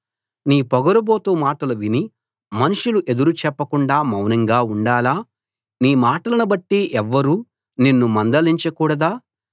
నీ పొగరుబోతు మాటలు విని మనుషులు ఎదురు చెప్పకుండా మౌనంగా ఉండాలా నీ మాటలను బట్టి ఎవ్వరూ నిన్ను మందలించకూడదా